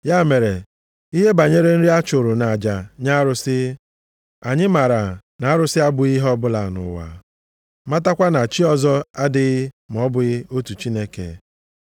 Ya mere, ihe banyere nri a chụrụ nʼaja nye arụsị, anyị maara na “Arụsị abụghị ihe ọbụla nʼụwa”, matakwa na “Chi ọzọ adịghị ma ọ bụghị otu Chineke.”